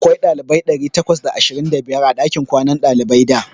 Akwai ɗalibai ɗari takwas da ashirin da biyar a ɗakin kwanan ɗaliban da.